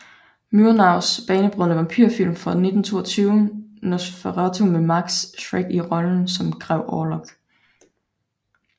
Murnaus banebrydende vampyrfilm fra 1922 Nosferatu med Max Schreck i rollen som Grev Orlok